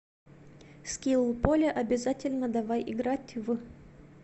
скилл поле обязательно давай играть в